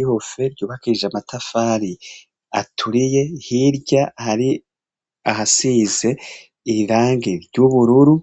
Igorofa ryubakije amatafari aturiye, hirya hari ahasize irangi ry'ubururu,